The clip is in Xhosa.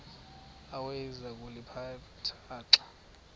awayeza kuliphatha xa